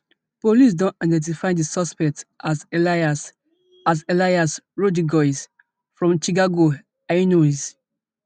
police don identify di suspect as elias as elias rodriguez from chicago illinois